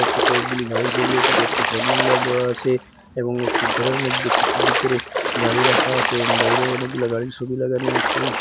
নীচে কয়েকগুলি গাড়ির সবি আছে কয়েকটি ফোন নাম্বার দেওয়া আসে এবং একটি ঘরের মধ্যে কিসু ভিতরে গাড়ি রাখা আসে এবং বাইরেও অনেকগুলা গাড়ির সবি লাগানো আছে।